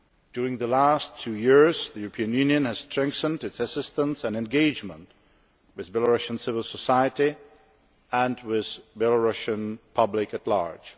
During the last two years the European Union has strengthened its assistance and engagement with Belarusian civil society and with the Belarusian public at large.